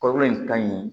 Kɔrɔ in ka ɲi